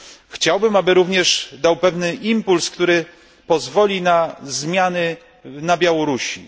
Chciałbym, aby również dał pewny impuls, który pozwoli na zmiany na Białorusi.